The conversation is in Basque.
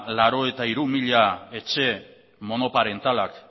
laurogeita hiru mila etxe monoparentalak